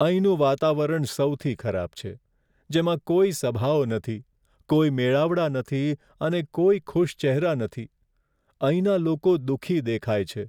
અહીંનું વાતાવરણ સૌથી ખરાબ છે, જેમાં કોઈ સભાઓ નથી, કોઈ મેળાવડા નથી અને કોઈ ખુશ ચહેરા નથી. અહીંના લોકો દુઃખી દેખાય છે.